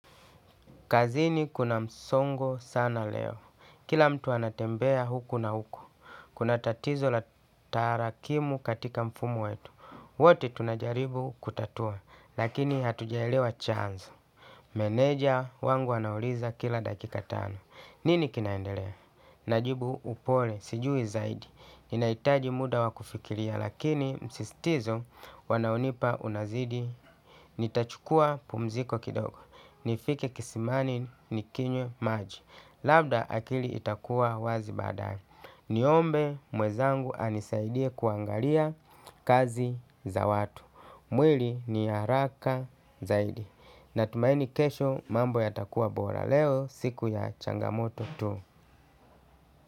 Kazini kuna msongo sana leo. Kila mtu anatembea huku na huku. Kuna tatizo la tarakimu katika mfumo wetu. Wote tunajaribu kutatua. Lakini hatujaelewa chanzo. Meneja wangu anauliza kila dakika tano. Nini kinaendelea? Najibu upole. Sijui zaidi. Ninahitaji muda wa kufikiria. Lakini msistizo wanaonipa unazidi. Nitachukua pumziko kidogo nifike kisimani nikinywe maji labda akili itakuwa wazi baadaye niombe mwenzangu anisaidie kuangalia kazi ya watu mwili ni haraka zaidi. Natumaini kesho mambo yatakuwa bora leo siku ya changamoto tu.